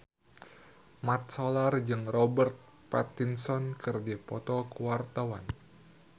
Mat Solar jeung Robert Pattinson keur dipoto ku wartawan